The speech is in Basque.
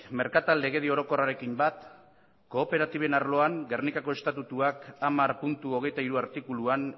merkatal legedi orokorrarekin bat kooperatiben arloan gernikako estatutuak hamar puntu hogeita hiru artikuluan